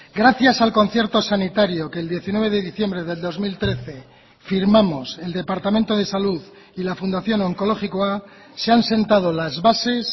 gracias al concierto sanitario que el diecinueve de diciembre del dos mil trece firmamos el departamento de salud y la fundación onkologikoa se han sentado las bases